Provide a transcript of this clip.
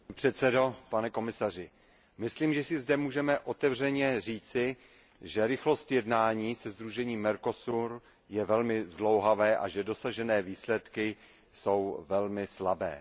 Vážený pane předsedající, myslím, že si zde můžeme otevřeně říci, že rychlost jednání se sdružením Mercosur je velmi zdlouhavá a že dosažené výsledky jsou velmi slabé.